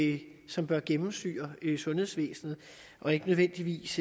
det som bør gennemsyre sundhedsvæsenet og ikke nødvendigvis